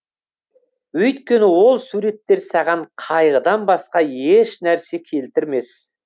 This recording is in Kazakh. өйткені ол суреттер саған қайғыдан басқа еш нәрсе келтірмес